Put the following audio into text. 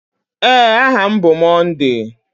Ee, aha m bụ Monday.